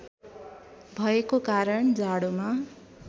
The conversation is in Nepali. भएको कारण जाडोमा